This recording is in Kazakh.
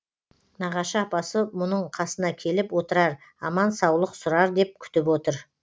нағашы апасы мұның қасына келіп отырар аман саулық сұрар деп күтіп отыр